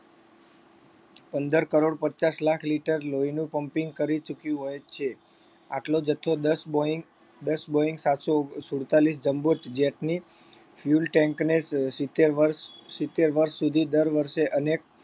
પંદર કરોડ પચાસ લાખ લીટર લોહીનું pumping કરી ચૂક્યું હોય છે. આટલો જથ્થો દસ boeing દસ boeing સાતસો સુડતાલીસ jumbo jet ની fuel tank ને સિત્તેર વર્ષ સિત્તેર વર્ષ સુધી દર વર્ષે અને